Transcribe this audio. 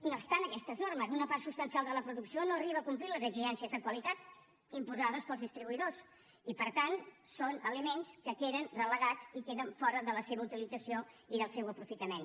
no obstant aquestes normes una part substancial de la producció no arriba a complir les exigències de qualitat imposades pels distribuïdors i per tant són aliments que queden relegats i queden fora de la seva utilització i del seu aprofitament